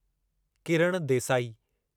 Kiran Desai